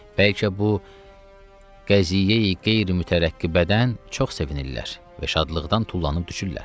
Bəlkə bu qəziyyeyi qeyri-mütərəqqibədən çox sevinirlər və şadlıqdan tullanıb düşürlər.